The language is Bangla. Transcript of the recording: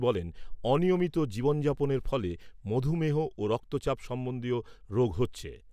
বলেন, অনিয়মিত জীবন যাপনের ফলে মধুমেহ ও রক্তচাপ সম্বন্ধীয় রোগ হচ্ছে।